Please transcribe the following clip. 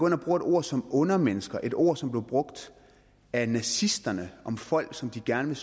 ind og bruger et ord som undermennesker et ord som blev brugt af nazisterne om folk som de gerne